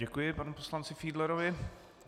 Děkuji panu poslanci Fiedlerovi.